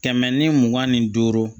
Kɛmɛ ni mugan ni duuru